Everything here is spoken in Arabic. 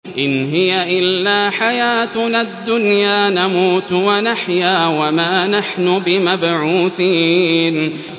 إِنْ هِيَ إِلَّا حَيَاتُنَا الدُّنْيَا نَمُوتُ وَنَحْيَا وَمَا نَحْنُ بِمَبْعُوثِينَ